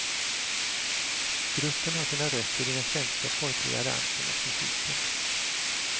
Gruppen har sina rötter i den svenska folkliga dansen och musiken.